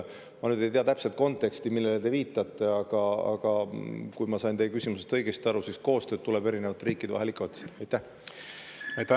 Ma nüüd ei tea täpset konteksti, millele te viitate, aga kui ma sain teie küsimusest õigesti aru, siis koostöö tuleb ju erinevate riikide vahel ikka otsida.